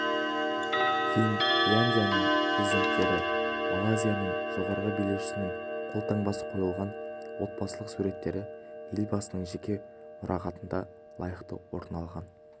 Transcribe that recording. финляндияның президенттері малайзияның жоғары билеушісінің қолтаңбасы қойылған отбасылық суреттері елбасының жеке мұрағатында лайықты орын алған